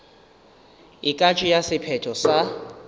e ka tšea sephetho sa